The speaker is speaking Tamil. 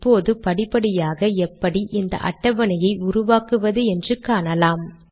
இப்போது படிப்படியாக எப்படி இந்த அட்டவணையை உருவாக்குவது என்று காணலாம்